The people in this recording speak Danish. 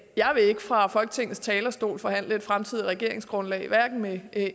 jeg vil ikke fra folketingets talerstol forhandle et fremtidigt regeringsgrundlag hverken med